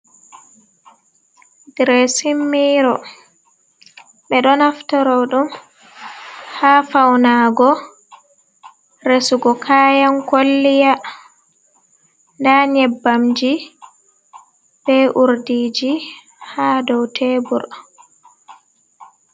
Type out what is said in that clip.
Diresin miiro ,ɓe ɗo naftaro ɗum haa fawnaago, resugo kayan kolliya, ndaa nyebbamji, be urdiiji haa dow tebur.